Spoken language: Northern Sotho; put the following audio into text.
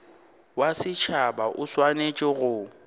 wa setšhaba o swanetše go